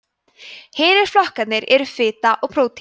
hinir flokkarnir eru fita og prótín